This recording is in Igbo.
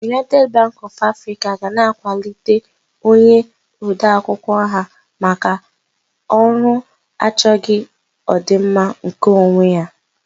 United Bank of Africa will be promoting her clerk for his selfless service